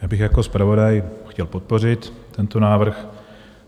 Já bych jako zpravodaj chtěl podpořit tento návrh.